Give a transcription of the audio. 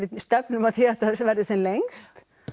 stefnum að því að þetta verði sem lengst